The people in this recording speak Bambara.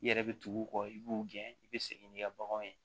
I yɛrɛ bɛ tugu u kɔ i b'u gɛn i bɛ segin n'i ka baganw ye